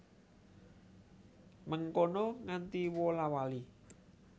Mengkono nganti wola wali